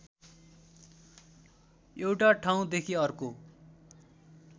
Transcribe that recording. एउटा ठाउँदेखि अर्को